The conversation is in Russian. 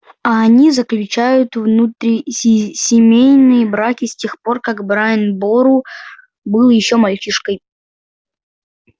а они заключают внутрисемейные браки с тех пор как брайан бору был ещё мальчишкой